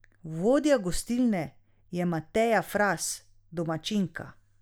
Vodja gostilne je Mateja Fras, domačinka.